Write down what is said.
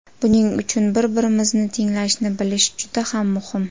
Buning uchun bir-birimizni tinglashni bilish juda ham muhim.